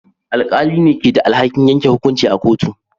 Alƙalai ne ke da alhakin yanke hukunci a kotu.